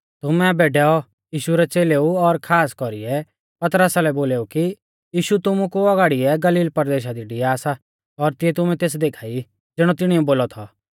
तुमै आबै डैऔ यीशु रै च़ेलेउलै और खास कौरीऐ पतरसा लै बोलौ कि यीशु तुमु कु औगाड़िऐ गलील परदेशा लै डिआ सा और तिऐ तुमै तेस देखा ई ज़िणौ तिणिऐ बोलौ थौ